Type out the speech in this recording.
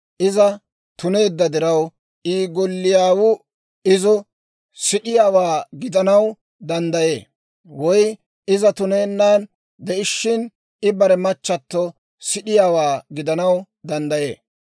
Iza tuneedda diraw, I golliyaw izo sid'iyaawaa gidanaw danddayee; woy iza tunennan de'ishshin, I bare machchato sid'iyaawaa gidanaw danddayee.